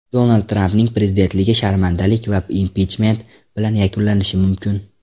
Donald Trampning prezidentligi sharmandalik va impichment bilan yakunlanishi mumkin.